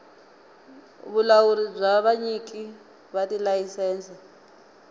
vulawuri bya vanyiki va tilayisense